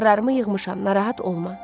Paltarlarımı yığmışam, narahat olma.